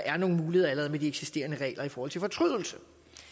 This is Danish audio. er nogle muligheder med de eksisterende regler om fortrydelse